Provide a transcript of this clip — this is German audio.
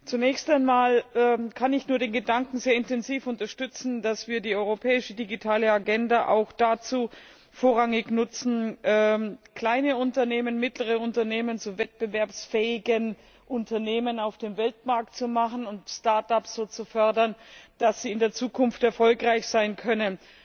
Zunächst einmal kann ich nur den Gedanken sehr intensiv unterstützen, dass wir die Europäische Digitale Agenda auch vorrangig dazu nutzen, kleine Unternehmen, mittlere Unternehmen zu wettbewerbsfähigen Unternehmen auf dem Weltmarkt zu machen und dort so zu fördern, dass sie in der Zukunft erfolgreich sein können.